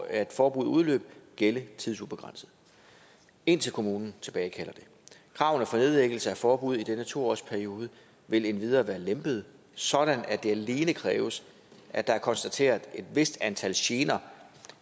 at forbuddet udløb gælde tidsubegrænset indtil kommunen tilbagekalder det kravene for nedlæggelse af forbud i denne to årsperiode vil endvidere være lempede sådan at det alene kræves at der er konstateret et vist antal gener